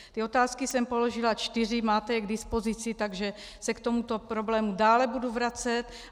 Ty otázky jsem položila čtyři, máte je k dispozici, takže se k tomuto problému dále budu vracet.